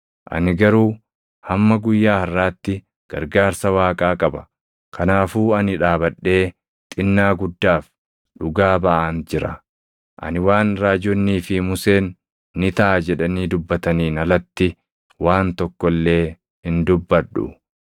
Ani garuu hamma guyyaa harʼaatti gargaarsa Waaqaa qaba; kanaafuu ani dhaabadhee xinnaa guddaaf dhugaa baʼaan jira. Ani waan raajonnii fi Museen ‘Ni taʼa’ jedhanii dubbataniin alatti waan tokko illee hin dubbadhu.